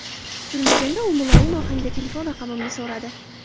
Kutilmaganda u muloyim ohangda telefon raqamimni so‘radi.